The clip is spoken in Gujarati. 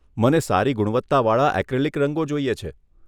મને સારી ગુણવત્તાવાળા એક્રિલિક રંગો જોઈએ છે.